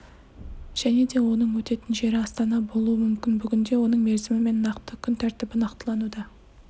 және де оның өтетін жері астана болуы мүмкін бүгінде оның мерзімі мен нақты күн тәртібі нақтылануда